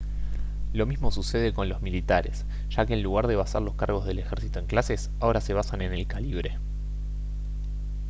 lo mismo sucede con los militares ya que en lugar de basar los cargos del ejército en clases ahora se basan en el calibre